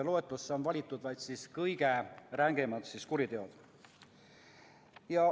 Loetelusse on valitud vaid kõige rängemad kuriteod.